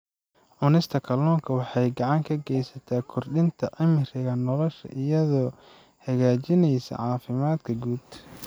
Cunista kalluunka waxay gacan ka geysataa kordhinta cimriga nolosha iyadoo hagaajinaysa caafimaadka guud.